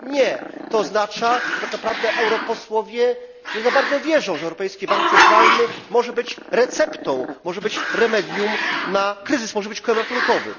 Nie oznacza to, że tak naprawdę europosłowie nie za bardzo wierzą, że Europejski Bank Centralny może być receptą, remedium, na kryzys, że może być kołem ratunkowym.